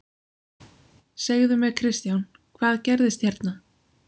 Segðu mér Kristján, hvað gerðist hérna?